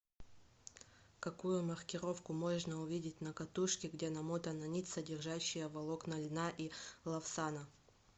какую маркировку можно увидеть на катушке где намотана нить содержащая волокна льна и лавсана